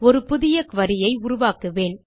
ஒரு புதிய குரி ஐ உருவாக்குவேன்